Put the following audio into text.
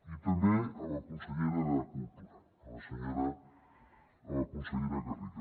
i també a la consellera de cultura a la senyora a la consellera garriga